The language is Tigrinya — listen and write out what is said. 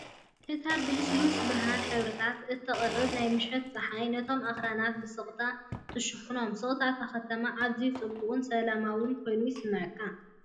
እታ ብልስሉስ ብርሃን ሕብርታት እተቕርብ ናይ ምሸት ጸሓይ፡ ነቶም ኣኽራናት ብስቕታ ትሽፍኖም፤ ስቕታ እታ ከተማ ኣዝዩ ጽቡቕን ሰላማዊን ኮይኑ ይስምዓካ።